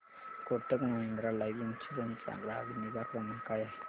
Kotak Mahindra Life Insurance चा ग्राहक निगा क्रमांक काय आहे